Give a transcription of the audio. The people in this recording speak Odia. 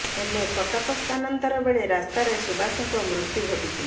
ହେଲେ କଟକ ସ୍ଥାନାନ୍ତର ବେଳେ ରାସ୍ତାରେ ସୁବାସଙ୍କ ମୃତ୍ୟୁ ଘଟିଥିଲା